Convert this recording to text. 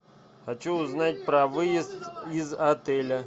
хочу узнать про выезд из отеля